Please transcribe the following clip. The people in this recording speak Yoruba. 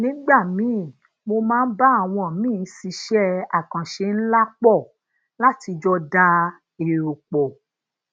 nígbà míì mo máa ń bá àwọn míì ṣiṣé akanse nla pò lati jo da ero po